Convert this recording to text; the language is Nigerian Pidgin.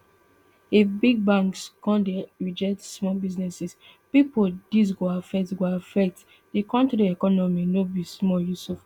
if big banks come dey reject small business pipo dis go affect go affect di kontri economy no be small yusuf add